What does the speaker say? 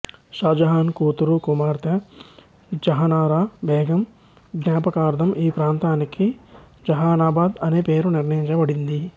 షాజహాన్ కూతురుకుమార్తె జహనరా బేగం ఙాఅపకార్ధం ఈ ప్రాంతానికి జహానాబాద్ అనే పేరు నిర్ణయించబడింది